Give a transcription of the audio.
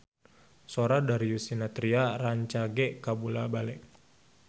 Sora Darius Sinathrya rancage kabula-bale